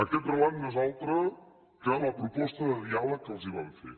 aquest relat no és altre que la proposta de diàleg que els vam fer